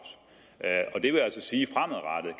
der er det vil altså sige